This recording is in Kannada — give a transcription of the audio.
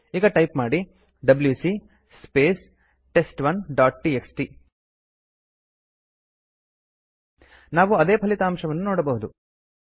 ಈಗ ಟೈಪ್ ಮಾಡಿ WC space test one dot TXT ನಾವು ಅದೇ ಫಲಿತಾಂಶವನ್ನು ನೋಡಬಹುದು